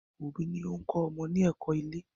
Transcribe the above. òbí ni o ń kọ́ ọmọ ní ẹ̀kọ́-ilé.